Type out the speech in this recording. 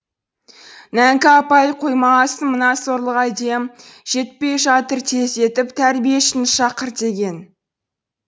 нәңкі апай қоймағасын мына сорлыға дем жетпей жатыр тездетіп тәрбиешіні шақыр деген